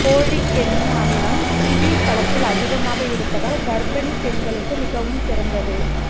folic என்னும் அமிலம் kiwi பழத்தில் அதிகமாக இருப்பதால் கர்ப்பிணி பெண்களுக்கு மிகவும் சிறந்தது